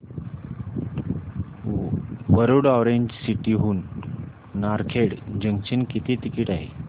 Warud orange city हून Narkhed junction किती ticket आहे